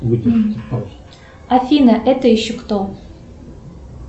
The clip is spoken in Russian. афина это еще кто